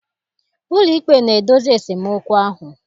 Ụlọikpe na-edozi esemokwu ahụ.